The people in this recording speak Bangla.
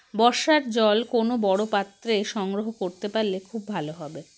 বর্ষার জল কোনো বড়ো পাত্রে সংগ্রহ করতে পারলে খুব ভালো হবে